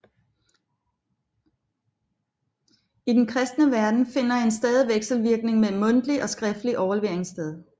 I den kristne verden finder en stadig vekselvirkning mellem mundtlig og skriftlig overlevering sted